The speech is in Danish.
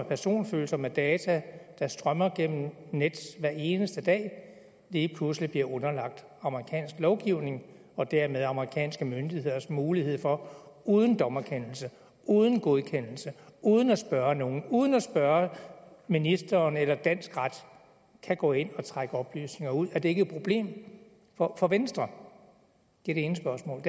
personfølsomme data der strømmer gennem nets hver eneste dag lige pludselig bliver underlagt amerikansk lovgivning og dermed giver amerikanske myndigheder mulighed for uden dommerkendelse uden godkendelse og uden at spørge nogen uden at spørge ministeren eller dansk ret at gå ind og trække oplysninger ud er det ikke et problem for for venstre det er det ene spørgsmål